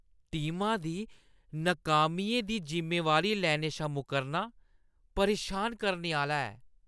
टीमा दी नकामियें दी जिम्मेवारी लैने शा मुक्करना परेशान करने आह्‌ला ऐ।